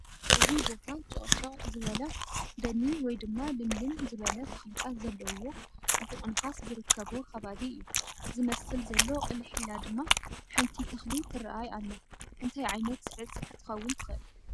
እዚ ቦታ ጭቕጭቕ ዝበለ ደኒ ወይ ድማ ልምልም ዝበለ ተኽልታት ዘለውዎ ፅቡቕ ንፋስ ዝርከቦ ኸባቢ እዩ ዝመስል ዘሎ ቕልሕ ኢላ ድማ ሓንቲ ተኽሊ ትረኣይ ኣላ እንታይ ዓይነት ዕፅ ክትከውን ትኽእል